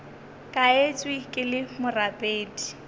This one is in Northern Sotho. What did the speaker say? ka etšwe ke le morapedi